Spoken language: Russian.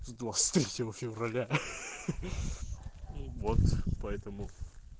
с двадцать третьего февраля ха ха вот поэтому